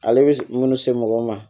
Ale bɛ minnu se mɔgɔ ma